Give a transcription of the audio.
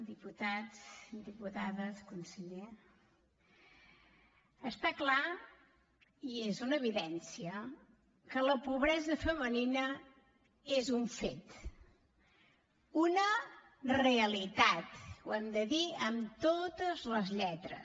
diputats diputades conseller està clar i és una evidència que la pobresa femenina és un fet una realitat ho hem de dir amb totes les lletres